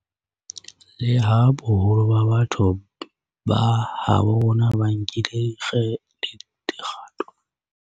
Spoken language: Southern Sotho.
Leha boholo ba batho ba habo rona ba nkile dikgato tsa ho thibela ho ata ha kokwanahloko ena, ho na le ba bang ba sa itshwenyang ka ho etsa jwalo.